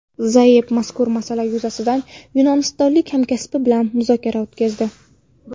Zayev mazkur masala yuzasidan yunonistonlik hamkasbi bilan muzokara o‘tkazdi.